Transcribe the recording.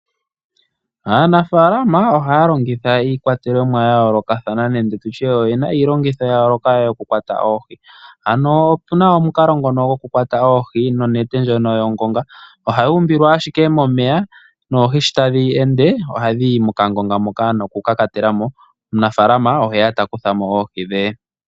Aanafaalama ohaya longitha iikwatelwa niilongitho yayooloka mbyoka yoku kwata oohi. Opuna omukalo gokukwata oohi nonete yongonga, ohayi umbilwa owala momeya oohi sho tadhi ende ohadhi yi mokangonga moka noku kakatela mo. Omunafaalama oteya ihe a kuthe mo oohi dhe.